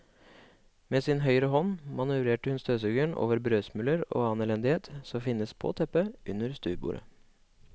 Med sin høyre hånd manøvrerer hun støvsugeren over brødsmuler og annen elendighet som finnes på teppet under stuebordet.